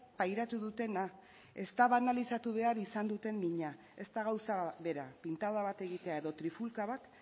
pairatu dutena ez da banalizatu behar izan duten mina ez da gauza bera pintada bat egitea edo trifulka bat